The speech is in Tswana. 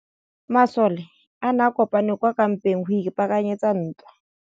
Masole a ne a kopane kwa kampeng go ipaakanyetsa ntwa.